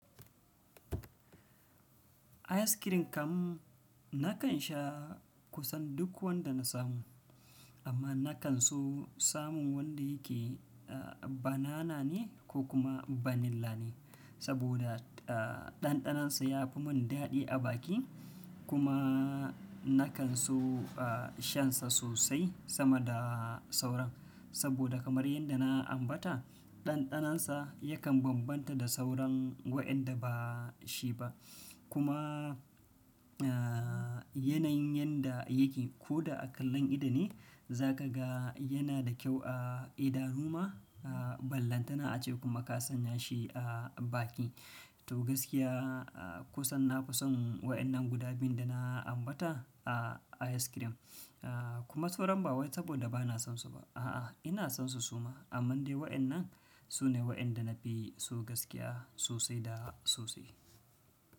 Ice cream kam nakan sha kusan duk wanda na samu, amma nakan so samun wanda yake banana ne ko kuma vanilla ne, saboda ah ɗanɗanansa ya fi mun daɗi a baki. Kuma nakan so a shansa sosai sama da sauran, saboda kamar yadda na ambata ɗanɗanansa yakan bambanta da sauran waƴanda ba shi ba. Kuma a yanayin yanda yake ko da a kallon idone za ka ga yana da kyau a idanu ma. A ballanta na a ce kuma ka sanya shi a baki. To gaskiya a kusan na fi son waɗannan guda biyun da na ambata a ice cream. A kuma sauran ba wai saboda ba na son su ba. A'a, ina son su suma. Amma dai waƴannan su ne waɗanda na fi so gaskiya sosai da sosai.